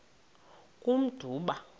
kummdumba